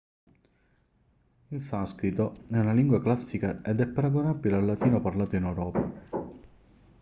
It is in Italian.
il sanscrito è una lingua classica ed è paragonabile al latino parlato in europa